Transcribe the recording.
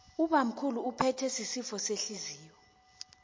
ubamkhulu uphethwe sisifo sehliziyo